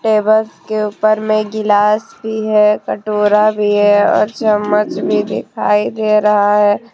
Table के ऊपर गिलास भी है कटोरा भी है और चम्मच भी दिखाई दे रहा है।